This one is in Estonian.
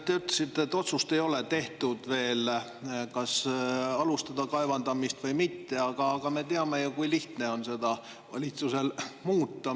Te ütlesite, et ei ole veel tehtud otsust, kas alustada kaevandamist või mitte, aga me teame ju, kui lihtne on valitsusel seda muuta.